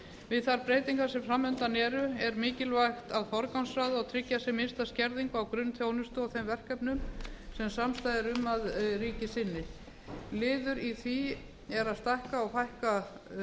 við þær breytingar sem fram undan eru er mikilvægt að forgangsraða og tryggja sem minnsta skerðingu á grunnþjónustu og þeim verkefnum sem samstaða er um að ríkið sinni liður í því er að stækka og fækka